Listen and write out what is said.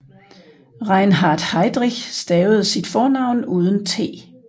Reinhard Heydrich stavede sit fornavn uden t